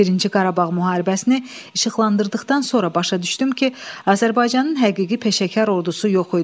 Birinci Qarabağ müharibəsini işıqlandırdıqdan sonra başa düşdüm ki, Azərbaycanın həqiqi peşəkar ordusu yox idi.